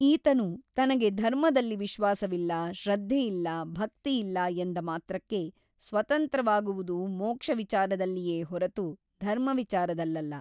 ಈತನು ತನಗೆ ಧರ್ಮದಲ್ಲಿ ವಿಶ್ವಾಸವಿಲ್ಲ ಶ್ರದ್ಧೆಯಿಲ್ಲ ಭಕ್ತಿಯಿಲ್ಲ ಎಂದ ಮಾತ್ರಕ್ಕೆ ಸ್ವತಂತ್ರವಾಗುವುದು ಮೋಕ್ಷವಿಚಾರದಲ್ಲಿಯೇ ಹೊರತು ಧರ್ಮವಿಚಾರದಲ್ಲಲ್ಲ.